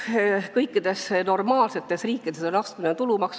Kõikides normaalsetes riikides on astmeline tulumaks.